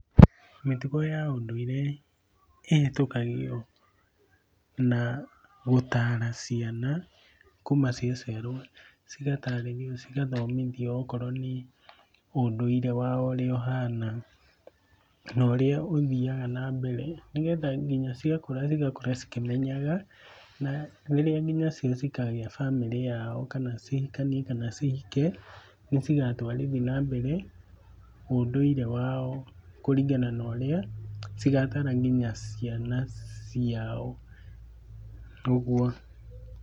Mĩtugo ya ũndũire ĩhĩtũkagio na gũtaara ciana kuma ciaciarwo, cigatarĩrio cigathomithio okorwo nĩ ũndũire wao ũrĩa ũhana na ũrĩa ũthiaga na mbere nĩgetha nginya ciakũra cigakũra cikĩmenyanga, na rĩrĩa nginya cio cikagaĩ bamĩrĩ ciao kana cihikanie kana cihike nĩcigatwarithi na mbere ũndũire wao kũringana na ũrĩa cigataara nginya ciana ciao ũguo.